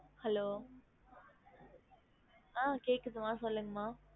Hello ஆஹ் கேக்குது மா சொல்லுங்க மா